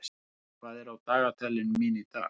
Eyþór, hvað er á dagatalinu mínu í dag?